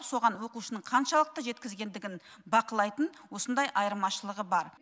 соған оқушының қаншалықты жеткізгендігін бақылайтын осындай айырмашылығы бар